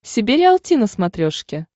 себе риалти на смотрешке